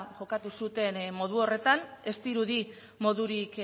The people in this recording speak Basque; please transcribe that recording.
jokatu zuten modu horretan ez dirudi modurik